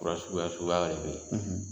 Waasi waasi waga de bɛ yen.